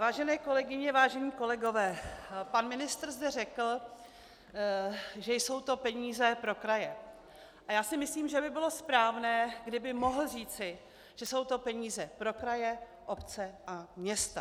Vážené kolegyně, vážení kolegové, pan ministr zde řekl, že jsou to peníze pro kraje, a já si myslím, že by bylo správné, kdyby mohl říci, že jsou to peníze pro kraje, obce a města.